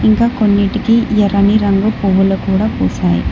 ఇంకా కొన్నిటికి ఎర్రని రంగు పువ్వులు కూడా పూసాయి.